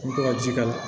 I bɛ to ka ji k'a la